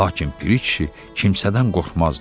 lakin Piri kişi kimsədən qorxmazdı.